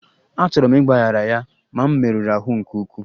Achọrọ m ịgbaghara ya, ma m merụrụ ahụ nke ukwuu